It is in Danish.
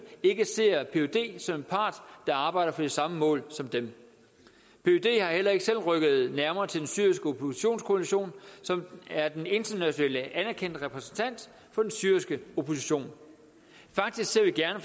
ikke ser pyd som en part der arbejder for de samme mål som dem pyd er heller ikke selv rykket nærmere til den syriske oppositionskoalition som er den internationalt anerkendte repræsentant for den syriske opposition faktisk ser vi gerne